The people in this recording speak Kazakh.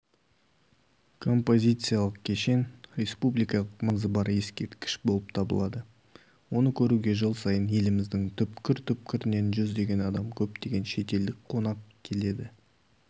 композициялық кешен республикалық маңызы бар ескерткіш болып табылады оны көруге жыл сайын еліміздің түпкір-түпкірінен жүздеген адам көптеген шетелдік қонақ келеді